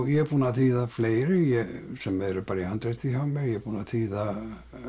ég er búinn að þýða fleiri sem eru bara í handriti hjá mér ég er búinn að þýða